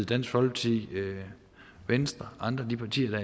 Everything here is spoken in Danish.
dansk folkeparti venstre og andre af de partier der